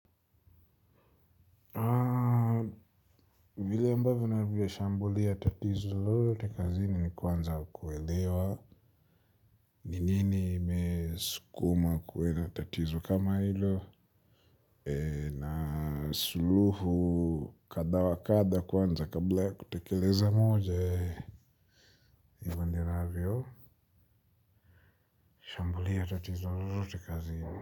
Vile ambavyo na vyo shambulia tatizo lolote kazini ni kwanza kuelewa. Ni nini imesukuma kuwe na tatizo kama hilo. Na suluhu kadha wakadha kwanza kabla ya kutekeleza moja. Hivyo ndivyo ninavyo shambulia tatizo lolote kazini.